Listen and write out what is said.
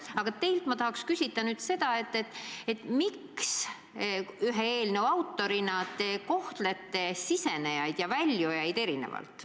Aga teilt ma tahan nüüd küsida seda, miks te eelnõu ühe autorina kohtlete sambasse sisenejaid ja sealt väljujaid erinevalt.